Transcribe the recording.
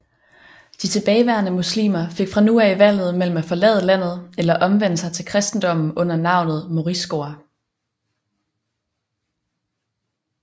De tilbageværende muslimer fik fra nu af valget mellem at forlade landet eller omvende sig til kristendommen under navnet moriscoer